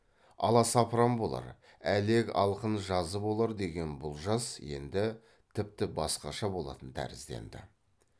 аласапран болар әлек алқын жазы болар деген бұл жаз енді тіпті басқаша болатын тәрізденді